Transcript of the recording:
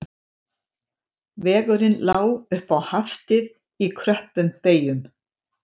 Vegurinn lá upp á Haftið í kröppum beyjum